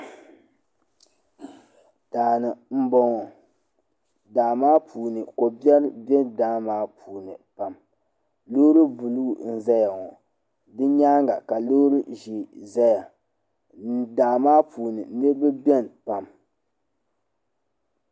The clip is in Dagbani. Daani m boŋɔ daa maa puuni kobiɛri be daa maa puuni pam loori buluu n zaya ŋɔ di nyaanga ka loori ʒee zaya daa maa puuni niriba biɛni pam.